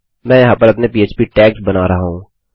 मैं यहाँ पर अपने पह्प टैग्स बना रहा हूँ